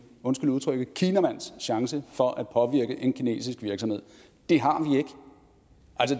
undskyld udtrykket en kinamands chance for at påvirke en kinesisk virksomhed det har